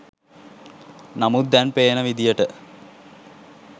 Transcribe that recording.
නමුත් දැන් පේන විදිහට